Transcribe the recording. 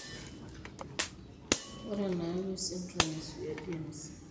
Ore enayau esindirom eSwyer James